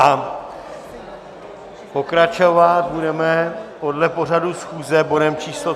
A pokračovat budeme podle pořadu schůze bodem číslo